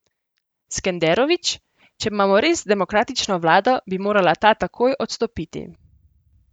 Skenderović: 'Če imamo res demokratično vlado, bi morala ta takoj odstopiti.